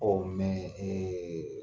O mɛ ɛɛ